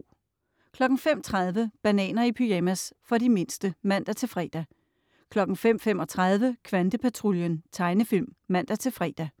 05.30 Bananer i pyjamas. For de mindste (man-fre) 05.35 Kvantepatruljen. Tegnefilm (man-fre)